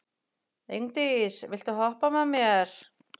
Ingdís, viltu hoppa með mér?